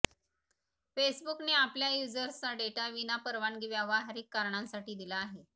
फेसबुकने आपल्या युझर्सचा डेटा विना परवानगी व्यावहारिक कारणांसाठी दिला आहे